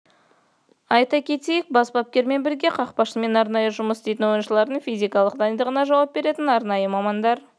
айта кетейік бас бапкермен бірге қақпашымен арнайы жұмыс істейтін ойыншылардың физикалық дайындығына жауап беретін арнайы мамандар